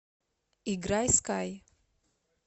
играй скай